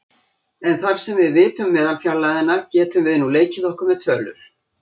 En þar sem við vitum meðalfjarlægðina getum við nú leikið okkur með tölur.